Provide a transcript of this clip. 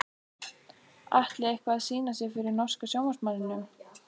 Atli eitthvað að sýna sig fyrir norska sjónvarpsmanninum?